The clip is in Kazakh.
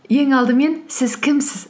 ең алдымен сіз кімсіз